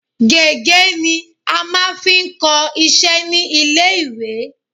Gègé ni a máa fi ń kọ iṣẹ́ ní ilé-ìwé